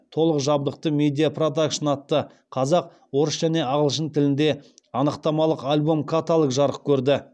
толық жабдықты медиа продакшн атты қазақ орыс және ағылшын тілінде анықтамалық альбом каталог жарық көрді